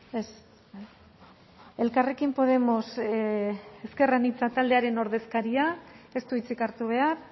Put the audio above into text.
ez elkarrekin podemos ezker anitza taldearen ordezkariak ez du hitzik hartu behar